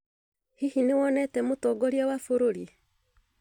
Hihi nĩ wonete Mũtongoria wa bũrũri?